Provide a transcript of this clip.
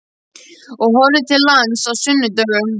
Og horfa til lands á sunnudögum.